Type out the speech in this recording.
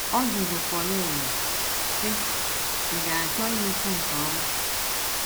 Ọ jụrụ Pauline, sị: “ Ị̀ ga - achọ imekwu nke ọma?